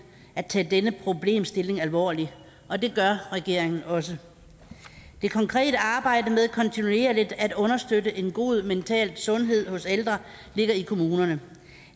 at tage denne problemstilling alvorligt og det gør regeringen også det konkrete arbejde med kontinuerligt at understøtte en god mental sundhed hos ældre ligger i kommunerne